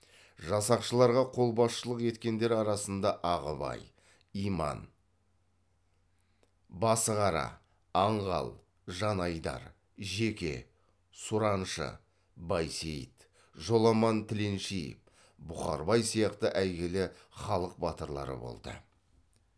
жасақшыларға қолбасшылық еткендер арасында ағыбай иман басығара аңғал жанайдар жеке сураншы байсейіт жоламан тіленшиев бұқарбай сияқты әйгілі халық батырлары болды